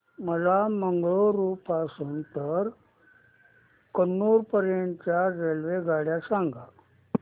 मला मंगळुरू पासून तर कन्नूर पर्यंतच्या रेल्वेगाड्या सांगा